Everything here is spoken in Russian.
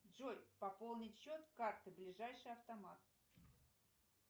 джой пополнить счет карты ближайший автомат